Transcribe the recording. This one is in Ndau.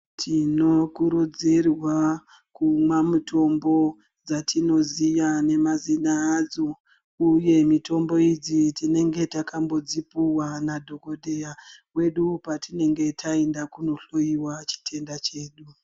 Tinokurudzirwa kumwa mutombo dzatinoziya nemazina adzo uye mitombo idzi tinenga takambodzipuwa nadhogodheya wedu patinenge tainda kunohloiwa chitenda chedu.